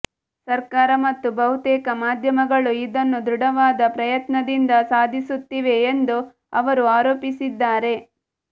ಸರ್ಕಾರ ಮತ್ತು ಬಹುತೇಕ ಮಾಧ್ಯಮಗಳು ಇದನ್ನು ದೃಢವಾದ ಪ್ರಯತ್ನದಿಂದ ಸಾಧಿಸುತ್ತಿವೆ ಎಂದು ಅವರು ಆರೋಪಿಸಿದ್ದಾರೆ